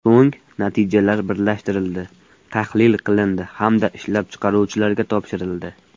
So‘ng, natijalar birlashtirildi, tahlil qilindi hamda ishlab chiqaruvchilarga topshirildi.